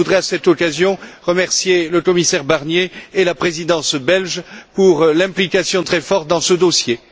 Je voudrais, à cette occasion, remercier le commissaire Barnier et la Présidence belge pour leur implication très forte dans ce dossier.